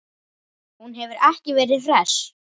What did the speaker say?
Hún hefur verið hress?